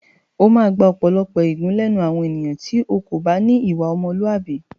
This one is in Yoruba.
O máa gba ọ̀pọ̀lọpọ̀ ègún lẹ́nu àwọn ènìyàn tí o kò bá ní ìwà ọmọlúàbí.